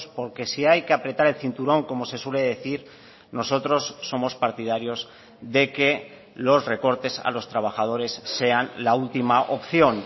porque si hay que apretar el cinturón como se suele decir nosotros somos partidarios de que los recortes a los trabajadores sean la última opción